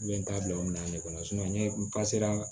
Bɛ n ta bila o minɛn de kɔnɔ n ye n ka sera